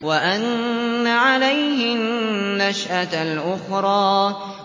وَأَنَّ عَلَيْهِ النَّشْأَةَ الْأُخْرَىٰ